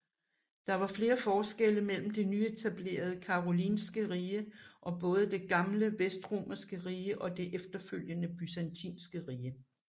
Der var flere forskelle mellem det nyeetablerede Karolingske Rige og både det gamle Vestromerske Rige og det efterfølgende Byzantinske Rige